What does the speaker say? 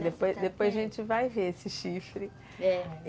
Depois depois a gente vai ver esse chifre, é.